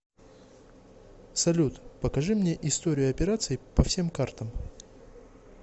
салют покажи мне историю операций по всем картам